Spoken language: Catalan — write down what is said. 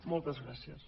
moltes gràcies